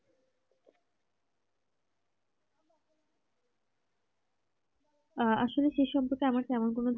আহ আসলে সে সম্পর্কের আমার তেমন কেন